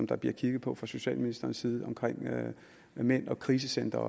der bliver kigget på fra socialministerens side om mænd og krisecentre